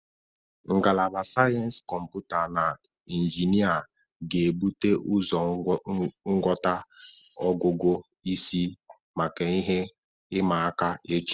Ngalaba Sayensị Kọmputa na Injinia ga-ebute ụzọ ngwọta ogugu isi maka ihe ịma aka echi.